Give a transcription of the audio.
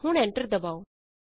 ਹੁਣ ਐਂਟਰ ਦਬਾਉ